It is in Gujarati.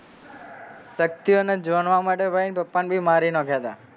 શક્તિઓ જાણવા માટે એના પપ્પા ભી મારી નોખ્યાતા.